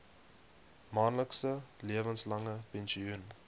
maandelikse lewenslange pensioen